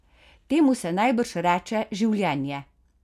Temu se najbrž reče življenje?